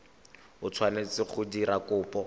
o tshwanetse go dira kopo